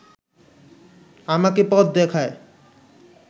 আমাকে পথ দেখায়